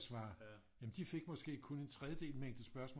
Svare de fik måske kun en tredjedel mængde spørgsmål